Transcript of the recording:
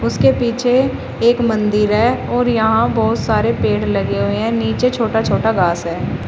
उसके पीछे एक मंदिर है और यहां बहोत सारे पेड़ लगे हुए हैं नीचे छोटा छोटा घास है।